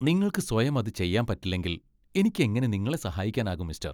നിങ്ങൾക്ക് സ്വയം അത് ചെയ്യാൻ പറ്റില്ലെങ്കിൽ എനിക്ക് എങ്ങനെ നിങ്ങളെ സഹായിക്കാനാകും, മിസ്റ്റർ!